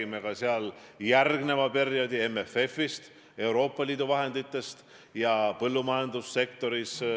Meil siin Riigikogus toimuvad poliitilised vaidlused, peetakse poliitilisi debatte, esineb poliitilist konkurentsi.